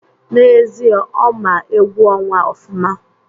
N'ezie, Ọ ma egwu ọnwa ofụma